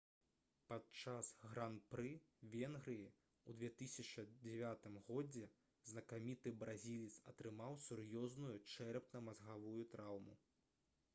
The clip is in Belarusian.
падчас гран-пры венгрыі ў 2009 годзе знакаміты бразілец атрымаў сур'ёзную чэрапна-мазгавую траўму